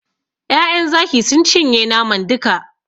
Ƴaƴan Zaki sun cinye naman duka.